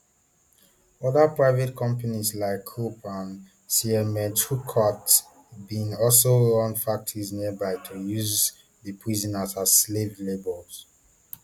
oda private companies like krupp and siemensschuckert bin also run factories nearby to use di prisoners as slave labour